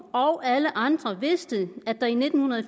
og alle andre vidste at der i nitten